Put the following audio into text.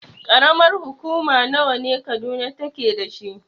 Ƙaramar hukuma nawa ne Kaduna take dashi?